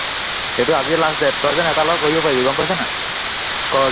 সেইটো আজিয়ে last date তই যেন এটাৰ লগত কৰিব পাৰিবি গম পাইছ নাই, কৰ